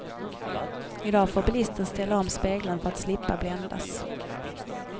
I dag får bilisten ställa om spegeln för att slippa bländas.